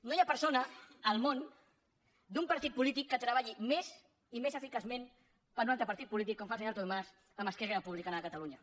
no hi ha persona al món d’un partit polític que treballi més i més eficaçment per un altre partit polític com fa el senyor artur mas amb esquerra republicana de catalunya